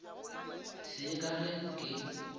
se ye ka ge ke